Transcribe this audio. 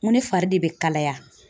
N ko ne fari de be kalaya.